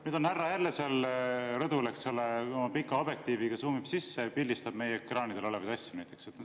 Nüüd on härra jälle seal rõdul, eks ole, oma pika objektiiviga, suumib ja pildistab meie ekraanidel olevaid asju.